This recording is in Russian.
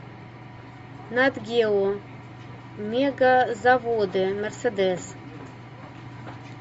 нат гео мегазаводы мерседес